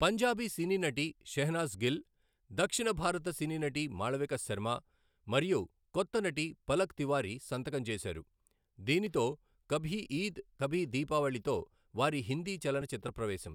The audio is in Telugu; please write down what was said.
పంజాబీ సినీ నటి షెహనాజ్ గిల్, దక్షిణ భారత సినీ నటి మాళవిక శర్మ మరియు కొత్త నటి పలక్ తివారీ సంతకం చేశారు, దీనితో కభీ ఈద్ కభీ దీపావళితో వారి హిందీ చలనచిత్ర ప్రవేశం.